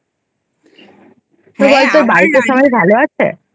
বাড়িতে সবাই ভালো আছে?